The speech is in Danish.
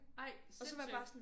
Ej sindssygt